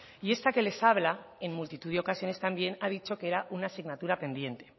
y esta que les habla en multitud de ocasiones también ha dicho que era una asignatura pendiente